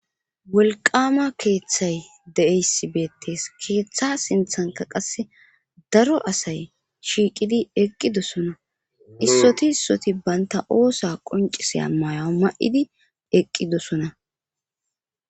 wolqama keeththay de7eysibeettes keeththa sinthanka qasse daro asay shiiqidi eqqidosona issoti issoti baynta oosa qonciseya maya ma7idi eqqidosona